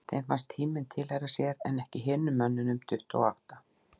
Þeim fannst tíminn tilheyra sér en ekki hinum mönnunum tuttugu og átta.